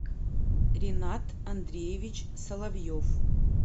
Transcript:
ренат андреевич соловьев